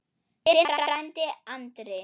Þinn frændi Andri.